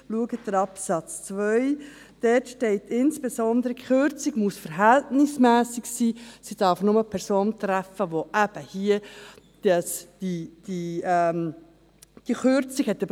Schauen Sie bei Absatz 2, dort steht insbesondere, dass die Kürzung verhältnismässig sein muss und nur die Person betreffen darf, die hier eben die Kürzung erhalten hat.